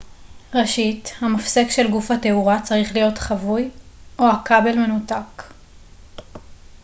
ראשית המפסק של גוף התאורה צריך להיות כבוי או הכבל מנותק